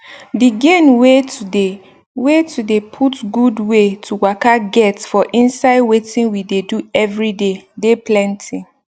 d gain wey to dey wey to dey put gud wey to waka get for inside wetin we dey do eveyday dey plenty